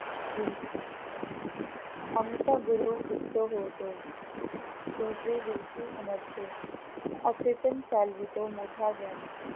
बींसी आमचा गुरु तृप्त होतो, दुजे दिवशी उमटतो अचेतन चालवितो मोठा ज्ञानी